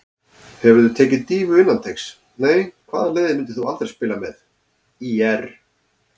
Hefurðu tekið dýfu innan teigs: Nei Hvaða liði myndir þú aldrei spila með: ÍR